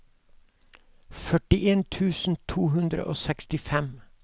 førtien tusen to hundre og sekstifem